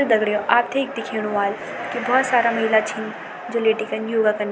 दगड़ियों आपथे यख दिखेणु वाल की बहौत सारा महिला छिन जो लेटिकेन योगा कन --